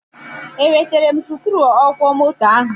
E wetele m sikruuọkwọmoto ahụ.